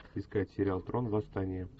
искать сериал трон восстание